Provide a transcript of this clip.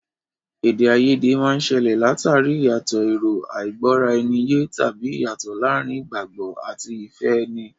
Èdè àìyedè máa ń ṣẹlẹ̀ l'àtàrí ìyàtọ̀ èrò, àìgbọ́-ara-ẹni-yé, tàbí ìyàtọ̀ láàárín ìgbàgbọ́ àti ìfẹ́ ẹni.